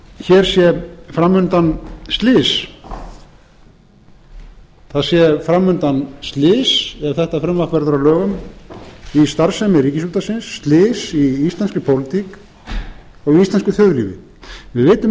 hér sé fram undan slys það sé fram undan slys ef þetta frumvarp verður að lögum um starfsemi ríkisútvarpsins slys í íslenskri pólitík og íslensku þjóðlífi við vitum ekki